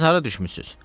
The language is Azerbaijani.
Siz hara düşmüsünüz?